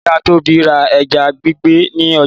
Ìyá Tóbi ra ẹja gbígbẹ ní ọjà.